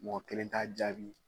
Mɔgɔ kelen t'a jaabi